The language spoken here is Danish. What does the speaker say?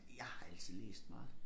Jeg har altid læst meget